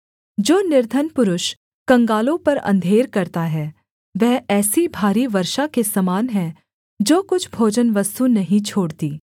जो निर्धन पुरुष कंगालों पर अंधेर करता है वह ऐसी भारी वर्षा के समान है जो कुछ भोजनवस्तु नहीं छोड़ती